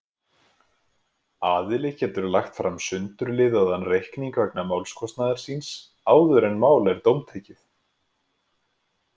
Aðili getur lagt fram sundurliðaðan reikning vegna málskostnaðar síns áður en mál er dómtekið.